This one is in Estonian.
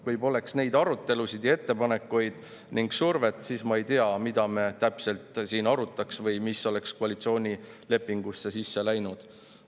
Kui poleks neid arutelusid ja ettepanekuid ning survet, siis ma ei tea, mida me täpselt siin arutaks või mis oleks koalitsioonilepingusse sisse läinud.